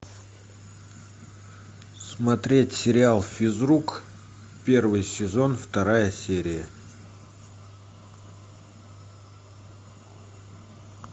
смотреть сериал физрук первый сезон вторая серия